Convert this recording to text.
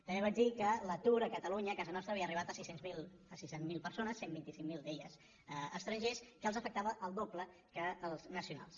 també vaig dir que l’atur a catalunya a casa nostra havia arribat a sis cents miler persones cent i vint cinc mil d’elles es·trangers que els afectava el doble que als nacionals